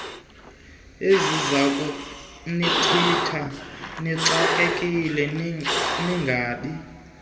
ezizakunigcina nixakekile ningabi